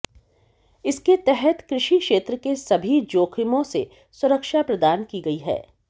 इसके तहत कृषि क्षेत्र के सभी जोखिमों से सुरक्षा प्रदान की गई है